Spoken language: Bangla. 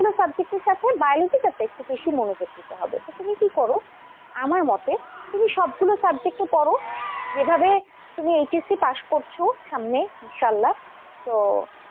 subject এর সাথে biology টাতে একটু বেশি মনোযোগ দিতে হবে, তো তুমি কি করো আমার মতে তুমি সবগুলো subject পড়ো, এভাবে তুমি HSC pass করেছো সামনে ইনশাল্লাহ। তো,